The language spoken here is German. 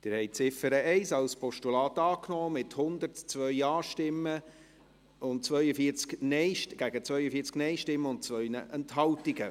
Sie haben die Ziffer 1 als Postulat angenommen, mit 102 Ja- gegen 42 Nein-Stimmen und 2 Enthaltungen.